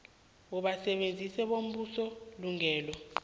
abasebenzi bombuso ilungelo